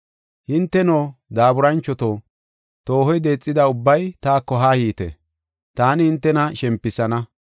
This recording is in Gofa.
“Hinteno, daaburanchoto, toohoy deexida ubbay taako haa yiite; taani hintena shempisana.